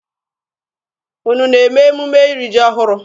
Unu na-eme emume iri ji ọhụrụ?